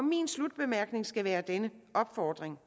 min slutbemærkning skal være denne opfordring